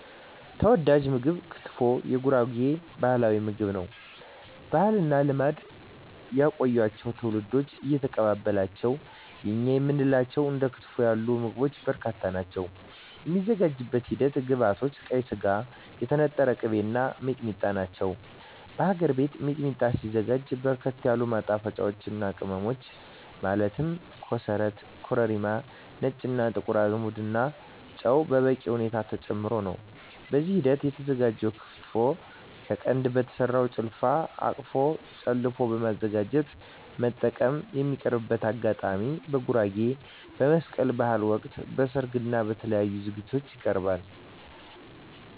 ተወዳጅ ምግብ ክትፎ የጉራጌ ባህላዊ ምግብ ነው። ባህልና ልማድ ያቆያቸው ትውልድ እየተቀባበላቸው የእኛ የምንላቸው እንደ ክትፎ ያሉ ምግቦች በርካታ ናቸው። የሚዘጋጅበት ሂደት ግብዐቶች ቀይ ስጋ, የተነጠረ ቅቤ , እና ሚጥሚጣ ናቸው። በሀገር ቤት ሚጥሚጣ ሲዘጋጅ በርከት ያሉ ማጣፈጫወች ቅመሞች ማለት ኮሰረት , ኮረሪማ , ነጭ እና ጥቁር አዝሙድ እና ጨው በበቂ ሁኔታ ተጨምሮበት ነው። በዚህ ሂደት የተዘጋጀው ክትፎ ከቀንድ በተሰራው ጭልፋ/አንቀፎ ጨለፎ በማዘጋጀት መጠቀም። የሚቀርብበት አጋጣሚ በጉራጌ በመስቀል በሀል ወቅት, በሰርግ እና በተለያዪ ዝግጅቶች ይቀርባል።።